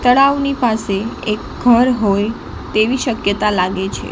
તળાવની પાસે એક ઘર હોય તેવી શક્યતા લાગે છે.